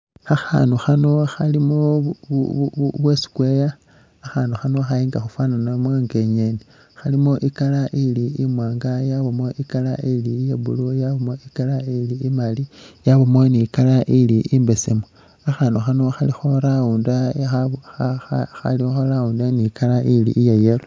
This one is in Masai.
khakhandu khano khalimo bwa square, khakhandu khano khaitsa khufananamo nga i'ngeeni, khalimo i'color ili imwaanga yabamo i'color ili iya blue yabamo i'colour ili imali yabamo ni color ili imbesemu. khakhandu khano khali kha round ni color ili iya yellow.